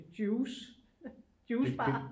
Juice juicebar